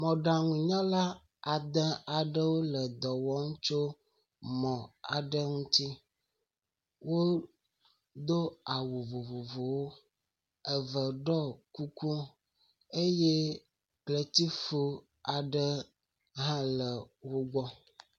Mɔɖaŋunyala ade aɖewo le dɔ wɔm tso mɔ aɖe ŋutsi. Wodo awu vvovovowo. Eve ɖɔ kuku eye kletifu aɖe hã le wo gbɔ.